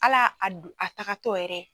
Hala a du a tagatɔ yɛrɛ.